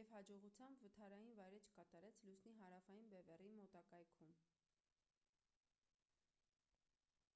և հաջողությամբ վթարային վայրէջք կատարեց լուսնի հարավային բևեռի մոտակայքում: